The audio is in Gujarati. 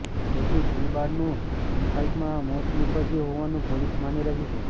જેથી સિંહબાળનું ઇનફાઇટમાં મોત નિપજ્યું હોવાનું પોલીસ માની રહી છે